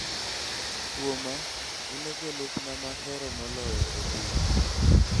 Kwoma un e jolupna mahero moloyo e piny .